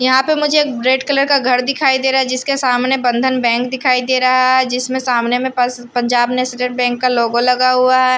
यहां पे मुझे एक रेड कलर का घर दिखाई दे रहा है जिसके सामने बंधन बैंक दिखाई दे रहा है जिसमें सामने में पंजाब नेशनल बैंक का लोगो लगा हुआ है।